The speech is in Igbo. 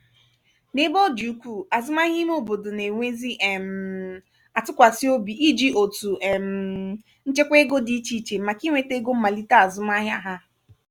n'ebe ọ dị ukwuu azụmahịa ime obodo na-enwezi um atụkwasị obi iji otu um nchekwa ego dị ichè ichè màkà inweta ego mmalite azụmahịa ha.